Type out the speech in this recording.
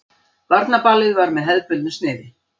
Barnaballið var með hefðbundnu sniði.